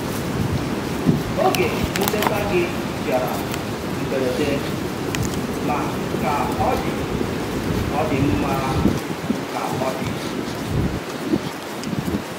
Oge nleta gị bịara mberede, ma ka ọ dị, ọ dị mma ka ọ dị.